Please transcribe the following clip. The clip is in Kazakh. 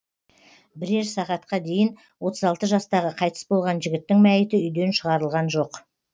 бірер сағатқа дейін отыз алты жастағы қайтыс болған жігіттің мәйіті үйден шығарылған жоқ